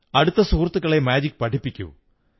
അടുത്ത സുഹൃത്തുക്കളെ മാജിക് പഠിപ്പിക്കൂ